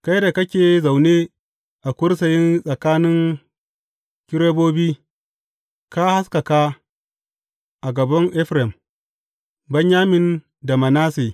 Kai da kake zaune a kursiyi tsakanin kerubobi, ka haskaka a gaban Efraim, Benyamin da Manasse.